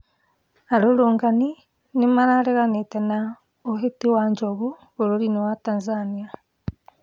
Arũrũngani nĩmareganĩte na ũhĩti wa njogu bũrũri-inĩ wa Tanzania